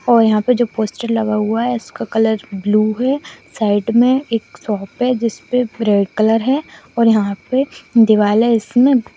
और यहां पर जो पोस्टर लगा हुआ है उसका कलर बलू है साइड में एक शॉप है जिस पर रेड कलर है और यहां पर दिवाले इसमें--